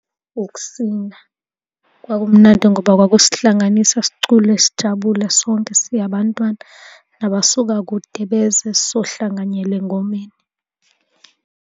Ukusina. Kwakumnandi ngoba kwakusihlanganisa sicule sijabule sonke si abantwana. Nabasuka kude beze sizohlanganyela engomeni.